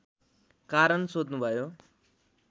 कारण सोध्नुभयो